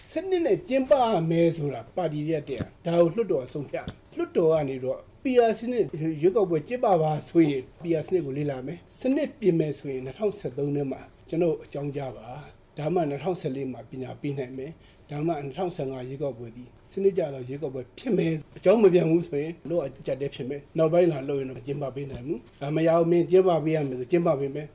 စနစ်နဲ့ ကျင်းပရမယ်ဆိုတာ ပါတီတွေကတင်၊ ဒါကိုလွှတ်တော်က ဆုံးဖြတ်ရမှာ၊ လွှတ်တော်က PR စနစ်ရွေးကောက်ပွဲ ကျင်းပပါဆိုရင် ဒီစနစ်ကိုလေ့လာမယ်၊ စနစ်ပြင်မယ်ဆိုရင် ၂ဝ၁၃ ထဲမှာ ကျနော့်ကို အကြောင်းကြားပါ၊ ဒါမှ ၂ဝ၁၄ မှာပြင်နိုင်မယ်၊ ဒါမှ၂ဝ၁၅ မှာ ရွေးကောက်ပွဲကြီး စနစ်ကျတဲ့ရွေးကောက်ပွဲကြီးဖြစ်မယ်၊ ၂ဝ၁၃ အကြောင်းမပြန်ဘူးဆိုရင် လုပ်ရတာအကျပ်အတည်းဖြစ်မယ်၊ နောက်ပိုင်းမှာလုပ်ရင်တော့ ကောင်းအောင်မကျင်းပပေးနိုင်ဘူး၊ မရဘူး မင်းကျင်းပပေးရမယ်ဆိုရင် ကျင်းပပေးမယ်